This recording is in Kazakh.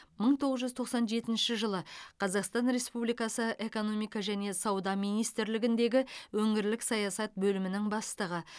мың тоғыз жүз тоқсан жетінші қазақстан республикасы экономика және сауда министрлігіндегі өңірлік саясат бөлімінің бастығы